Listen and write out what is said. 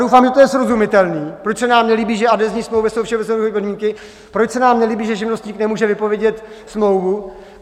Doufám, že to je srozumitelné, proč se nám nelíbí, že adhezní smlouvy jsou všeobecné podmínky, proč se nám nelíbí, že živnostník nemůže vypovědět smlouvu.